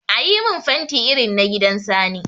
Ayi min fanti irin na gidan Sani.